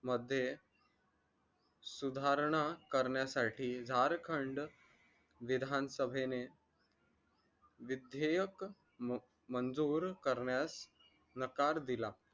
मध्ये सुधारणा करण्यासाठी झारखंड विधानसभेने विधेयक मंजूर करण्यास नकार दिला